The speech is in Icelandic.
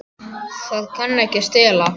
Það kann ekki að stela.